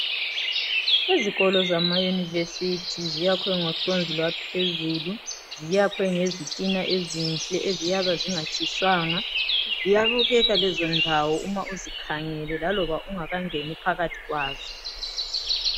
Izikolo zama yunivesithi ziyakhwe ngohlonzi lwaphezulu ziyakhwe ngezitina ezinhle eziyabe zingatshiswanga ziyabukela lezo ndawo uma uzikhangele laloba ungakangeni phakathi kwazo.